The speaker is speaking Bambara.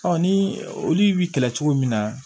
ni olu bɛ kɛlɛ cogo min na